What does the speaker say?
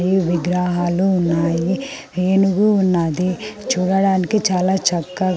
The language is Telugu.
విగ్రహాలు ఉన్నాయి ఏనుగు ఉనది చూడటానికి చాలా చక్క--